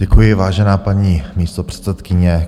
Děkuji, vážená paní místopředsedkyně.